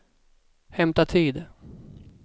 hämta tid